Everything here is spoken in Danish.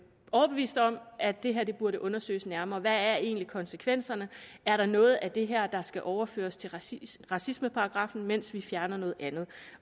overbevist om at det her burde undersøges nærmere hvad er egentlig konsekvenserne er der noget af det her der skal overføres til racismeparagraffen mens vi fjerner noget andet